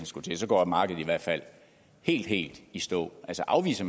skulle til og så går markedet i hvert fald helt helt i stå altså afviser